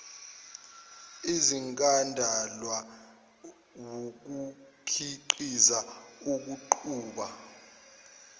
ezingadalwa wukukhiqiza ukuqhuba